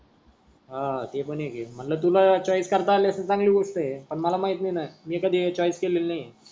हा ते पण एक हे आहे मनल तुला चॉईस करता अस्ती चांगली गोष्ट आहे पण मला माहिती नाही ना मी कधी हे चॉईस केलेली नाही आहे.